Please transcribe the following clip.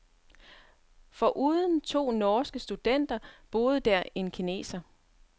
Foruden to norske studenter boede der en kineser.